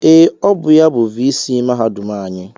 Ee, ọ bụ ya bụ viisii mahadum anyị